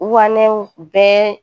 Wanɛw bɛɛ